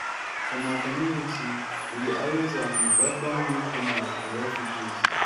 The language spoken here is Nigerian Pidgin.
for my community we dey always um welcome new-comers and refugees.